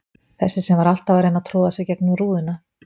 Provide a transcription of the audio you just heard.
Þessi sem var alltaf að reyna að troða sér gegnum rúðuna.